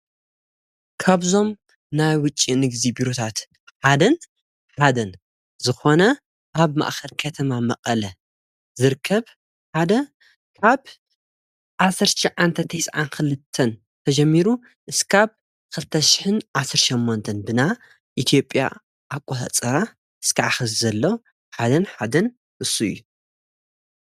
ካብዞም ናይ ውጭ ንግዲ ቢሮታት ሓደን ሓደን ዝኾነ ኣብ ማእከል ከተማ መቐለ ዝርከብ ሓደ ካብ ዓሠርተ ትሽዓንተ ቴስዓንክልተን ተጀሚሩ እስካብ ኽልተሽሕን ዓሠርተ ሸሞንትን ብናይ ኢትዮጲያ ኣቆፃፅራ እስካዕ ኸዚ ዘሎ ሓደን ሓደን እሱ እዩ።